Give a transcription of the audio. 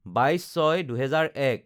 ২২/০৬/২০০১